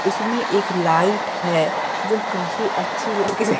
उसमें एक लाइट है जो काफी अच्छी लग--